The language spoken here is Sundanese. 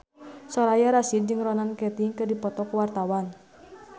Soraya Rasyid jeung Ronan Keating keur dipoto ku wartawan